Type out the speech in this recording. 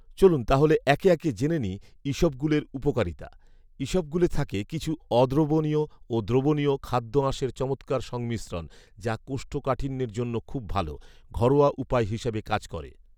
চলুন তাহলে একে একে জেনে নিই ইসবগুলের উপকারিতা। ইসবগুলে থাকে কিছু অদ্রবণীয় ও দ্রবণীয় খাদ্যআঁশের চমৎকার সংমিশ্রণ, যা কোষ্ঠকাঠিন্যের জন্য খুব ভালো। ঘরোয়া উপায় হিসেবে কাজ করে।